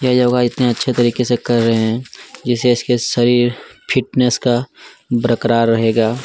ये जो भाई इतने अच्छे तरीके से कर रहै है जिसके इसके शरीर फिटनेस का बरकरार रहैगा --